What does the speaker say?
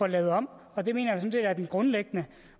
lavet om og det mener jeg sådan set er den grundlæggende